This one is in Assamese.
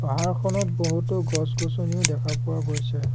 পাহাৰখনত বহুতো গছ-গছনিও দেখা পোৱা গৈছে।